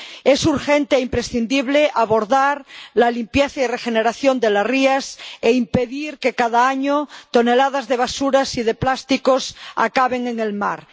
Es urgente e imprescindible abordar la limpieza y regeneración de las rías e impedir que cada año toneladas de basuras y de plásticos acaben en el mar.